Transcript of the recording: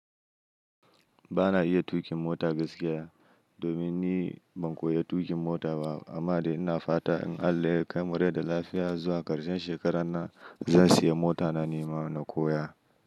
Ba na iya tuƙin mota gaskiya, domin ni ban koya tuƙin mota ba. Amma dai ina fata in Allah ya kai mu rai da lafiya zuwa ƙarshen shekarar nan, zan siya mota na nima na koya.